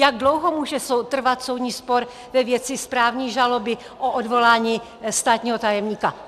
Jak dlouho může trvat soudní spor ve věci správní žaloby o odvolání státního tajemníka?